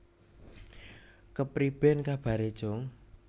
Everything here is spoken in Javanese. Kepriben kabare cung